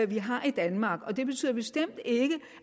vi har i danmark men det betyder bestemt ikke